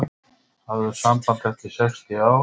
Höfðu samband eftir sextíu ár